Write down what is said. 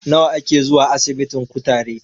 Nawa a ke zuwa asibitin kutare?